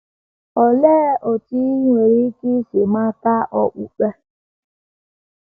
Olee otú i nwere ike isi mata okpukpe?